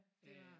Det var det